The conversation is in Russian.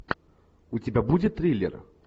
у тебя будет триллер